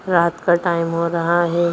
रात का टाइम हो रहा है।